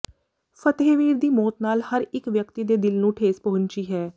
ਫਤਿਹਵੀਰ ਦੀ ਮੌਤ ਨਾਲ ਹਰ ਇੱਕ ਵਿਅਕਤੀ ਦੇ ਦਿਲ ਨੂੰ ਠੇਸ ਪਹੁੰਚੀ ਹੈ